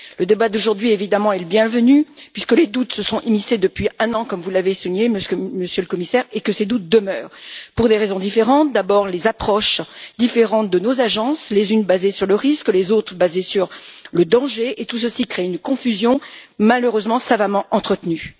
Le débat d'aujourd'hui est évidemment le bienvenu, puisque les doutes se sont immiscés depuis un an, comme vous l'avez souligné, Monsieur le Commissaire, et que ces doutes demeurent pour des raisons différentes Premièrementd'abord, les approches différentes de nos agences, les unes basées sur le risque, les autres basées sur le danger et tout celaci crée une confusion, malheureusement savamment entretenue.